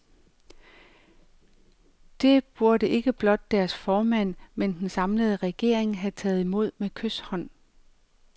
Det burde ikke blot deres formand, men den samlede regering have taget imod med kyshånd.